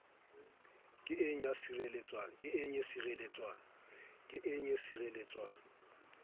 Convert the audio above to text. e ke ng ya sireletswa